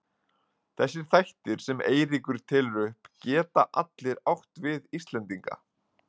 Þessir þættir sem Eiríkur telur upp geta allir átt við Íslendinga.